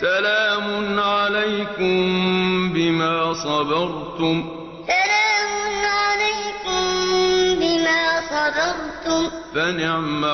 سَلَامٌ عَلَيْكُم بِمَا صَبَرْتُمْ ۚ فَنِعْمَ عُقْبَى الدَّارِ سَلَامٌ عَلَيْكُم بِمَا صَبَرْتُمْ ۚ فَنِعْمَ